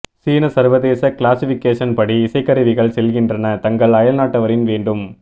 சீன சர்வதேச கிளாசிஃபிகேசன் படி இசைக்கருவிகள் செல்கின்றன தங்கள் அயல்நாட்டவரின் வேண்டும்